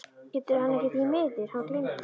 GETUR HANN EKKI ÞVÍ MIÐUR, HANN GLEYMDI